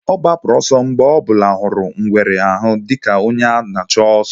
Ọ gbapụrụ ọsọ mgbe ọ bụla hụrụ ngwere ahụ dika onye ala na-achụ oso